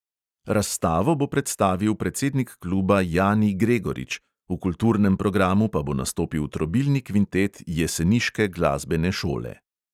Razstavo bo predstavil predsednik kluba jani gregorič, v kulturnem programu pa bo nastopil trobilni kvintet jeseniške glasbene šole.